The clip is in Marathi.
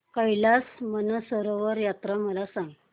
कैलास मानसरोवर यात्रा मला सांग